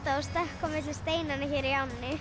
að stökkva á milli steinanna hér í ánni